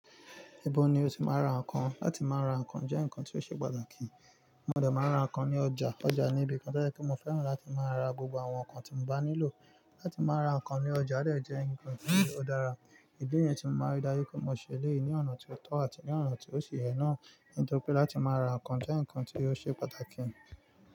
Ibo ni o ti máa ń ra nǹkan? Láti máa ra nǹkan jẹ́ nǹkan tí ó ṣe pàtàkì. Mo dẹ̀ máa ń ra nǹkan ní ọjà. Ọjà ni ibi kan tó jẹ́ pé mo fẹ́ràn láti máa ra gbogbo àwọn nǹkan tí mo bá nílò. Láti máa ra nǹkan ní ọjà dẹ̀ jẹ́ nǹkan tí ó dára. Ìdí nìyẹn tí mo máa ń rí dájú pé mo ṣe eléyìí ní ọ̀nà tí ó tọ́ àti ní ọ̀nà tí ó ṣì yẹ nà. Nítorí pé láti máa ra nǹkan jẹ́ nǹkan tí ó ṣe pàtàkì.